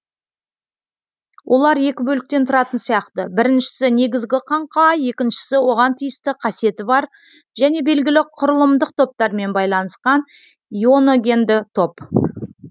олар екі бөліктен тұратын сияқты біріншісі негізгі каңқа екіншісі оған тиісті қасиеті бар және белгілі құрылымдық топтармен байланысқан ионогенді топ